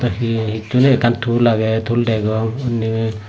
he hissu ney ekkan tul aage tul degong unni.